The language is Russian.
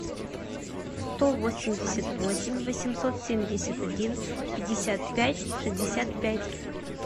сто восемьдесят восемь восемьсот семьдесят один пятьдесят пять шестьдесят пять